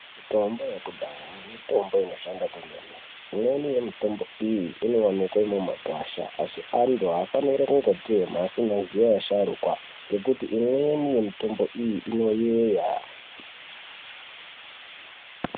Mitombo yekudhaya mitombo inoshanda kwemene, imweni yemitombo iyi inowanikwe mumakwasha asi antu hafaniri kungo temha asingazivi asharukwa ngekuti imweni mitombo iyi inoyera.